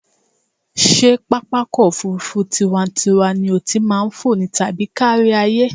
Ṣé pápákọ̀-òfurufú tiwa-n-tiwa ni o ti máa fò ni tàbí ti kárí-ayé?